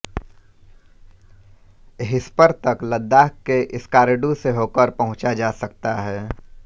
hispa तक लद्दाख के स्कार्डू से होकर पहुँचा जा सकता है